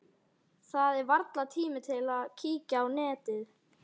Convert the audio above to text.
Það er varla tími til að kíkja á netið.